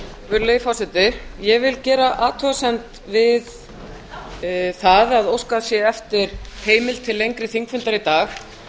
virðulegi forseti ég vil gera athugasemd við að óskað sé eftir heimild til lengri þingfundar í dag